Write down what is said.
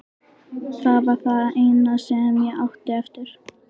Það var það eina sem ég átti eftir.